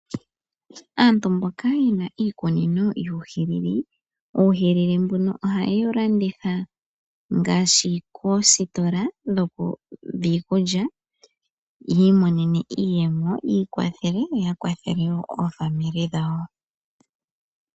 Aantu mboka yena iikunino yuuhilili. Oha ye wu landitha koositola dhiikulya. Opo yi imonena iiyemo yi ikwathe yo ya kwathele woo omazimo gawo.